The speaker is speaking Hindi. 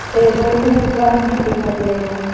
टेबल में एक गम भी दिखाई दे रहे हैं।